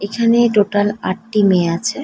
এখানে টোটাল আটটি মেয়ে আছে।